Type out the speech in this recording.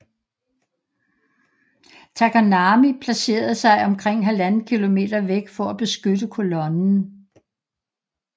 Takanami placerede sig omkring 1½ km væk for at beskytte kolonnen